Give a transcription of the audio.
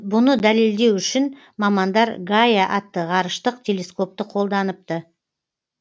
бұны дәлелдеу үшін мамандар гайа атты ғарыштық телескопты қолданыпты